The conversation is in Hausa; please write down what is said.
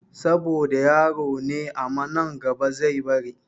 Saboda yaro ne aman nan gaba zai bari